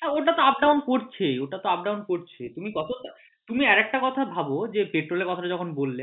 হ্যাঁ ওটাতো up down করছেই ওটাতো up down করছে তুমি কতটা তুমি আরেকটা কথা ভাবো যে পেট্রোল এর কথাটা যখন বললে